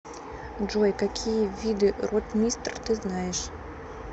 джой какие виды ротмистр ты знаешь